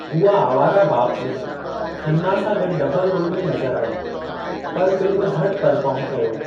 हूअ आवारा बाप में खन्ना सां गॾु डबल रोल में नज़र आई पर फ़िल्म घटि परफ़ार्म कयो।